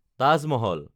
Taj Mahal